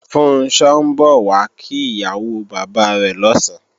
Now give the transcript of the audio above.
Funṣọ́ ń bọ̀ wá kí ìyàwó bàbá rẹ̀ lọ̀sán